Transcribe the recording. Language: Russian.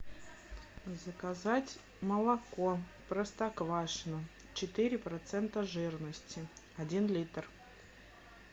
заказать молоко простоквашино четыре процента жирности один литр